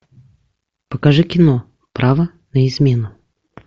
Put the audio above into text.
покажи кино право на измену